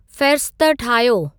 फ़हिरिस्त ठाहियो